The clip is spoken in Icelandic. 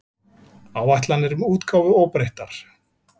Áætlanir um útgáfu óbreyttar